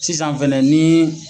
Sisan fɛnɛ ni ye.